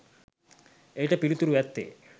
එයට පිළිතුර ඇත්තේ